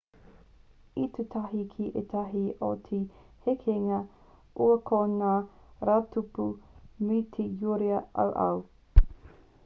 i tū tahi ki ētahi o te hekenga ua ko ngā rautupu me te uira auau